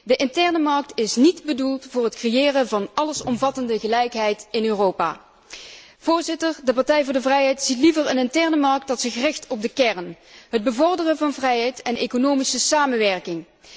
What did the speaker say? De interne markt is niet bedoeld voor het creëren van een allesomvattende gelijkheid in Europa. Voorzitter, de Partij voor de Vrijheid ziet liever een interne markt die zich richt op de kern het bevorderen van vrijheid en economische samenwerking.